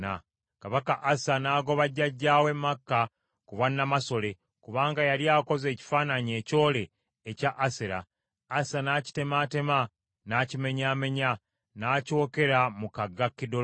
Kabaka Asa n’agoba jjajjaawe Maaka ku bwannamasole kubanga yali akoze ekifaananyi ekyole ekya Asera. Asa n’akitemaatema n’akimenyaamenya, n’akyokera mu kagga Kidulooni.